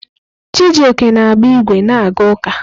Chijioke na-agba ígwè na-aga ụka.